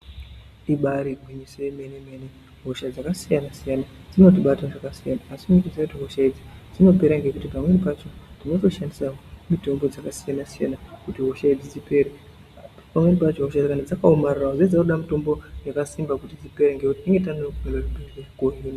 Ibari gwinyiso yemene mene hosha dzakasiyana dzinotibata zvakasiyana asi chendoziya hosha idzi dzinopera ngekuti tinoshandisa mutombo dzakasiyana siyana kuti hosha idzi dzipere.